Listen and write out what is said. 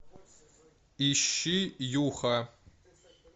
ищи юха